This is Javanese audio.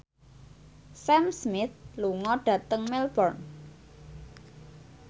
Sam Smith lunga dhateng Melbourne